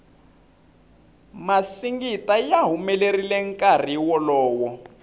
masingita ya humelerile nkarhi wolowo